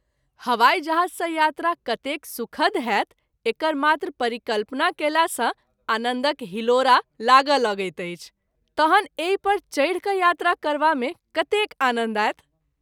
हवाई जहाज़ सँ यात्रा कतेक सुखद होयत एकर मात्र परिकल्पना कएला सँ आनन्दक हिलोरा लागय लगैत अछि ,तहन एहि पर चढि कय यात्रा करबा मे कतेक आनन्द आओत।